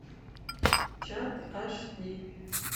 чат аш ди